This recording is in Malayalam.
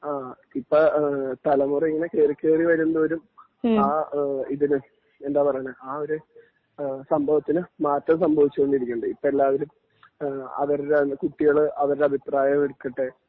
ആ ഇപ്പോ തലമുറ ഇങ്ങനെ കേറിക്കേറി വരുന്തോറും ആ ഇതിന് എന്താ പറയാ ആ ഒരു ആ ഒരു സംഭവത്തിന് മാറ്റം സംഭവിച്ചു കൊണ്ടിരിക്കുന്നുണ്ട് ഇപ്പോ എല്ലാവരും അവരുടെ കുട്ടികള് അവരുടെ അഭിപ്രായം എടുക്കട്ടെ